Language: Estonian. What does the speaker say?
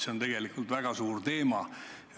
See on tegelikult väga suur teema.